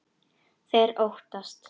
Þeir óttast.